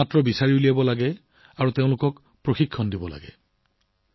প্ৰয়োজন হলে বিচাৰি উলিয়াই খোদিত কৰক